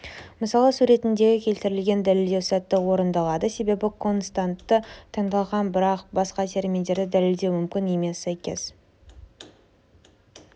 мысалы суретіндегі келтірілген дәлелдеу сәтті орындалады себебі константасы таңдалған бірақ басқа терминдерде дәлелдеу мүмкін емес сәйкес